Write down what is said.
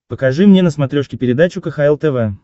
покажи мне на смотрешке передачу кхл тв